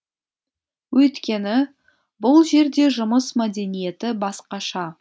өйткені бұл жерде жұмыс мәдениеті басқаша